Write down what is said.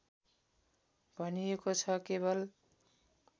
भनिएको छ केवल